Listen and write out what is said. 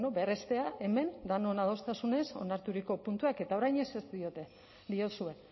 berrestea hemen denon adostasunez onarturiko puntuak eta orain ezetz diote diozue